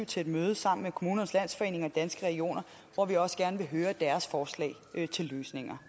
til et møde sammen med kommunernes landsforening og danske regioner hvor vi også gerne vil høre deres forslag til løsninger